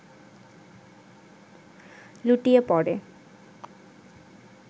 লুটিয়ে পড়ে